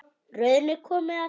Röðin er komin að þér.